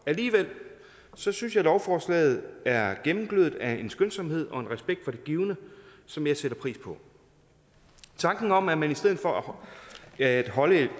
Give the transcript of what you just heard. alligevel synes jeg lovforslaget er gennemglødet af en skønsomhed og en respekt for det givne som jeg sætter pris på tanken om at man i stedet for at holde